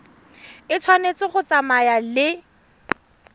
e tshwanetse go tsamaya le